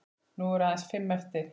Nú eru aðeins fimm eftir.